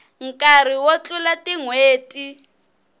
nkarhi wo tlula tin hweti